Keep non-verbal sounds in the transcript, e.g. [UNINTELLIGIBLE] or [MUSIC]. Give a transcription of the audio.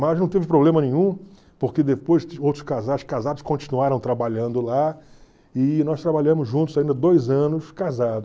Mas não teve problema nenhum, porque depois [UNINTELLIGIBLE] casados continuaram trabalhando lá e nós trabalhamos juntos ainda dois anos casados.